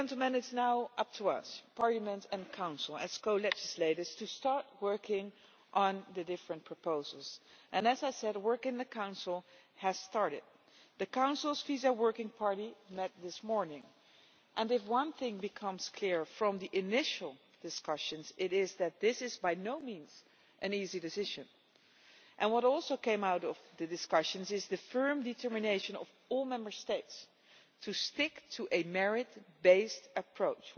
It is now up to us, Parliament and the Council, as co legislators, to start working on the different proposals and as I said work in the Council has started. The Council's Visa Working Party met this morning and if one thing becomes clear from the initial discussions, it is that this is by no means an easy decision. What also came out of the discussions is the firm determination of all Member States to stick to a merit based approach.